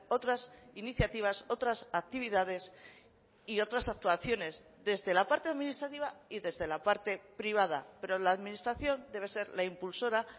otras iniciativas otras actividades y otras actuaciones desde la parte administrativa y desde la parte privada pero la administración debe ser la impulsora